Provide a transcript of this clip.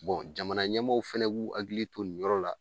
jamana ɲɛmaw fɛnɛ b'u hakili to nin yɔrɔ la